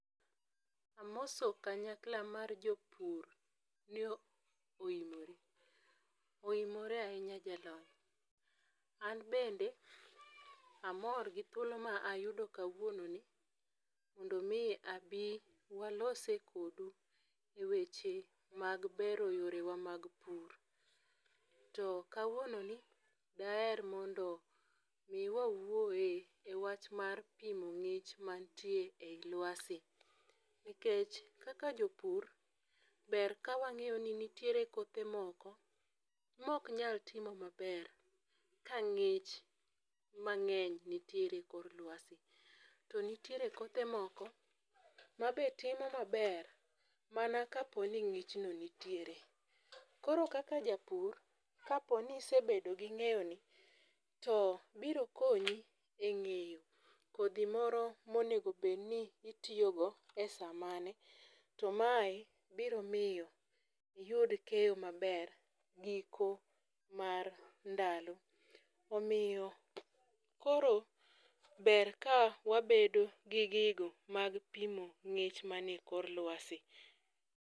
Amoso kanyakla ma jopur, ni oimore. Oimore ahinya jalony. An bende amor gi thuolo ma ayudo kawuononi, mondo omi abi walose kodu e weche mag bero yore wa mag pur. To kawuononi daher mondo omi wawuoye e wach mar pimo ngích ma nitie ei lwasi. Nikech kaka jopur, ber ka wangéyo ni nitiere kothe moko ma oknyal timo maber ka ngích mangény nitiere e kor lwasi. To nitiere kothe moko ma be timo maber mana ka po ni ngích no nitiere. Koro kaka japur, ka po ni isebedo gi ngéyoni, to biro konyi e ngéyo kodhi moro monego bed ni itiyogo e sa mane, to mae biro miyo iyud keyo maber giko mar ndalo. Omiyo koro ber ka wabedo gi gigo mag pimo ngích manie kor lwasi.